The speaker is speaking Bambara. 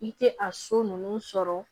I tɛ a so ninnu sɔrɔ